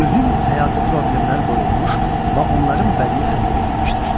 mühüm həyatı problemlər qoyulmuş və onların bədii həlli verilmişdir.